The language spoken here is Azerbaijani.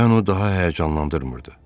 Və onu daha həyəcanlandırmırdı.